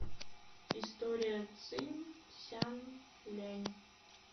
история цинь сян лянь